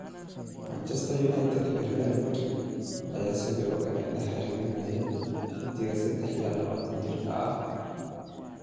Manchester United iyo Real Madrid ayaa sidoo kale lala xiriirinayay xiddiga sedax iyo labatan jirka ah.